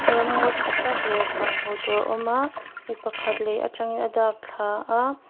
ramngaw thatak leh van hmuhtur a awm a mi pakhat lei atangin a dak thla a--